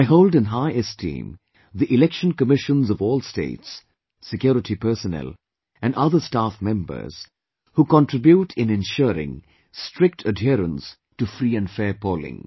I hold in high esteem, the Election Commissions of all states, security personnel and other staff members who contribute in ensuring strict adherence to free and fair polling